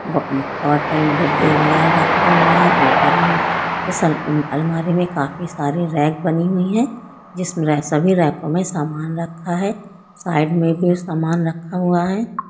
ब बॉटल बनाए रखे हुए है। ऊपर इस अ अलमारी में काफी सारे रैक बनी हुई है। जिसमे सभी रैको में समान रखा है। साइड में भी समान रखा हुआ है।